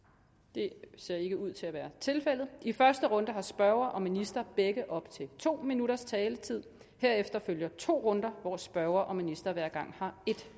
det ser ikke ud til at være tilfældet i første runde har spørger og minister begge op til to minutters taletid herefter følger to runder hvor spørger og minister hver gang har en